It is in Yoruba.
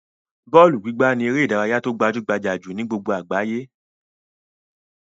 Bọ́ọ́lù gbígbá ni eré-idárayá tó gbajú-gbajà jù ni gbogbo àgbáyé.